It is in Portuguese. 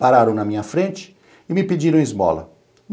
Pararam na minha frente e me pediram esmola.